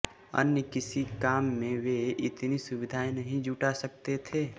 अन्य किसी काम में वे इतनी सुविधाएं नहीं जुटा सकते थे